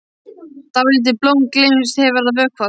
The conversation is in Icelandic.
Dálítið blóm sem gleymst hefur að vökva.